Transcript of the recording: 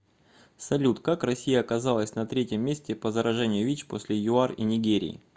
салют как россия оказалась на третьем месте по заражению вич после юар и нигерии